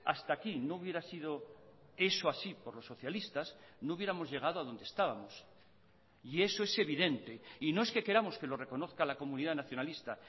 hasta aquí no hubiera sido eso así por los socialistas no hubiéramos llegado a donde estábamos y eso es evidente y no es que queramos que lo reconozca la comunidad nacionalista